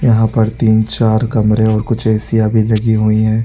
यहाँ पर तीन - चार कमरे और कुछ एसीयां भी लगी हुई है।